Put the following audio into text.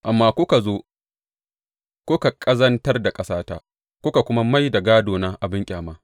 Amma kuka zo kuka ƙazantar da ƙasata kuka kuma mai da gādona abin ƙyama.